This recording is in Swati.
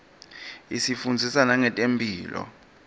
isifundzisa nangetemphilo